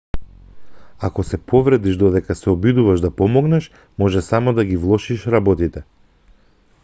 ако се повредиш додека се обидуваш да помогнеш може само да ги влошиш работите